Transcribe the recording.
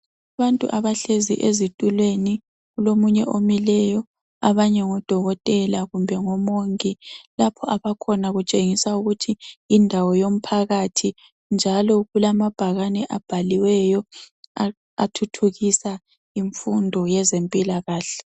ABANTU ABAHLE EZITULWENI KULOMUNYE OMILEYO ABANYE NGODOKOTELA KUMBE NGOMONGI LAPHO ABAKHONA KUTSHENGISA UKUTHI YINDAWO WOMPAKATHI NJALO KULAMABHAKANI ABHALIWEYO ATHUTHUKISA IMFUNDO YEZEMPILAKAHLE